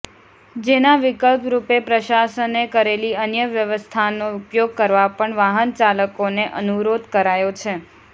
જેના વિકલ્પરૂપે પ્રશાસને કરેલી અન્ય વ્યવસ્થાનો ઉપયોગ કરવા પણ વાહનચાલકોને અનુરોધ કરાયો છે